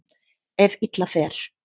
Ef illa fer.